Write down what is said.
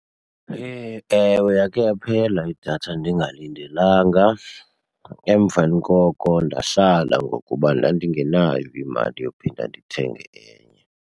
Hee! ewe, yakhe yaphela idatha ndingalindelanga. Emveni koko ndahlala ngokuba ndandingenayo imali yophinda ndithenge enye.